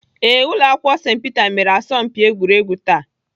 Ee, Ụlọakwụkwọ St Peter mere asọmpi egwuregwu taa.